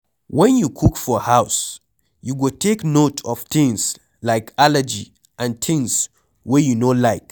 When you cook for house you go take note of things like allergy and things wey you no like